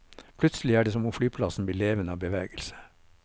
Plutselig er det som om flyplassen blir levende av bevegelse.